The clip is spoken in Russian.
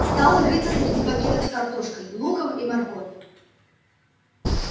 стал рыться среди пакетов с картошкой луком и морковью